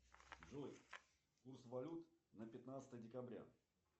джой курс валют на пятнадцатое декабря